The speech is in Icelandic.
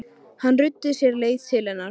Hann ruddi sér leið til hennar.